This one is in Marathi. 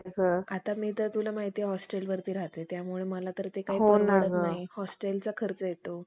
आता मी तर तुला माहितीए मी होस्टेलवरती राहते त्यामुळे तर ए काही परवडत नाही हॉस्टेलचा खर्च येतो